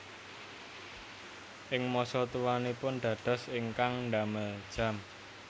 Ing masa tuanipun dados ingkang damel jam